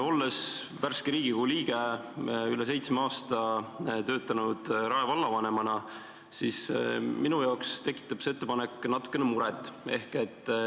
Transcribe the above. Olles värske Riigikogu liige ja olles üle seitsme aasta töötanud Rae vallavanemana, tekitab see ettepanek mulle natukene muret.